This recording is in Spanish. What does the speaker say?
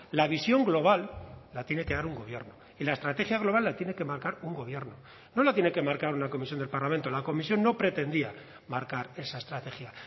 la visión global la tiene que dar un gobierno y la estrategia global la tiene que marcar un gobierno no la tiene que marcar una comisión del parlamento la comisión no pretendía marcar esa estrategia